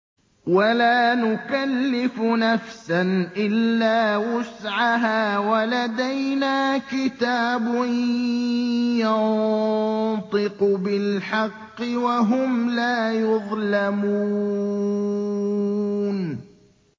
وَلَا نُكَلِّفُ نَفْسًا إِلَّا وُسْعَهَا ۖ وَلَدَيْنَا كِتَابٌ يَنطِقُ بِالْحَقِّ ۚ وَهُمْ لَا يُظْلَمُونَ